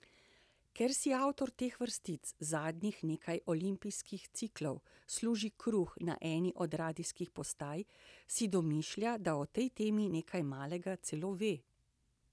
Ker si avtor teh vrstic zadnjih nekaj olimpijskih ciklov služi kruh na eni od radijskih postaj, si domišlja, da o tej temi nekaj malega celo ve.